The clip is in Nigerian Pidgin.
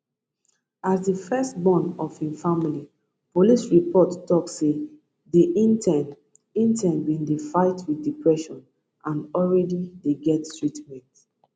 as di first born of im family police report tok say di intern intern bin dey fight wit depression and already dey get treatment